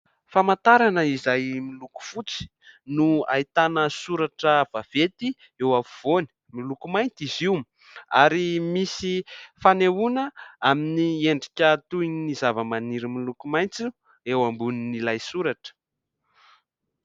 Famantarana izay miloko fotsy no ahitana soratra vaventy eo afovoany, miloko mainty izy io ary misy fanehoana amin'ny endrika toy ny zavamaniry miloko maitso eo ambonin'ilay soratra.